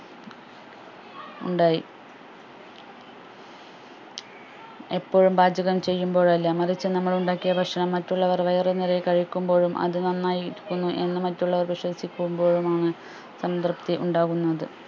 ഉണ്ടായി എപ്പോഴും പാചകം ചെയ്യുമ്പോഴല്ല മറിച്ച് നമ്മൾ ഉണ്ടാക്കിയ ഭക്ഷണം മറ്റുള്ളവർ വയറു നിറയെ കഴിക്കുമ്പോഴും അത് നന്നായി ഇരിക്കുന്നു എന്ന് മറ്റുള്ളവർ വിശ്വസിക്കുമ്പോഴുമാണ് സംതൃപ്തി ഉണ്ടാവുന്നത്